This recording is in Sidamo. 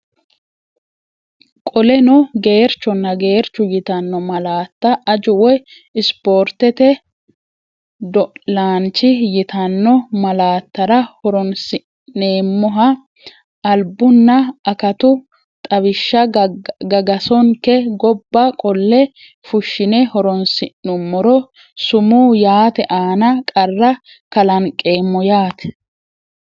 Qoleno, geerchonna geerchu yitanno malaatta aju woy ispoortete do’laanchi yitanno malaattara horoonsi’neemmoha albunna akatu xaw- ishsha gagasonke gobba qolle fushshine horoonsi’nummoro, sumuu yaate aana qarra kalanqeemmo yaate.